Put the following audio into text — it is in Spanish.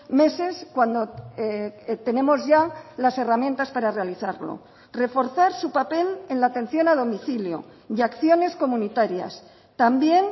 meses cuando tenemos ya las herramientas para realizarlo reforzar su papel en la atención a domicilio y acciones comunitarias también